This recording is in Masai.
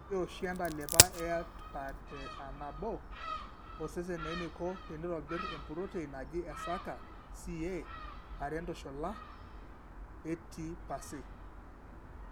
Keli oshi entalipa eATPareAnabo osesen eneiko teneitobir empurotein naji eSERCA Ca(are+) ATPase.